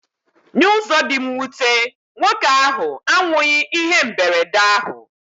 N'ụzọ dị mwute, nwoke ahụ anwụghị ihe mberede ahụ.